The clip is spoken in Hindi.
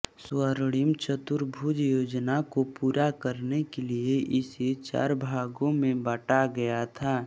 स्वर्णिम चतुर्भुज योजना को पूरा करने के लिए इसे चार भागों में बांटा गया था